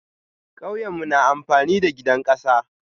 Kauyemu na amfani da gidan kasa.